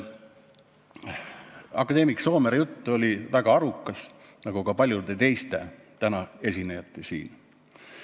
Akadeemik Soomere jutt oli väga arukas, nagu ka paljude teiste tänaste esinejate jutt siin.